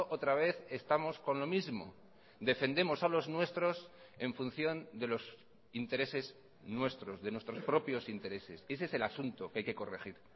otra vez estamos con lo mismo defendemos a los nuestros en función de los intereses nuestros de nuestros propios intereses ese es el asunto que hay que corregir